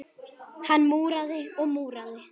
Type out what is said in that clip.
Hann múraði og múraði.